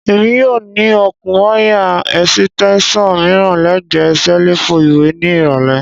Emi yoo ni okun waya esitesan miiran lẹgbẹẹ selifu iwe ni irọlẹ.